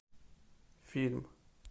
фильм